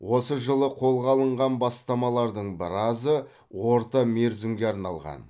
осы жылы қолға алынған бастамалардың біразы орта мерзімге арналған